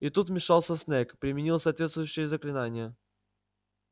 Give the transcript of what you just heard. и тут вмешался снегг применил соответствующее заклинание